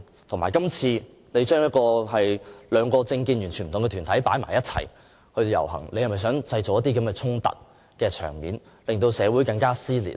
再者，署方今次把政見完全不同的兩個團體安排在一起，是否想製造一些衝突場面，令社會更撕裂？